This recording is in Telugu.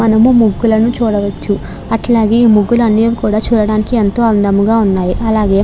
మనము ముగ్గులను చూడవచ్చు. అట్లాగే ముగ్గులు అన్నీ కూడా చూడడానికి ఎంతో అందంగా ఉన్నాయి. అలాగే --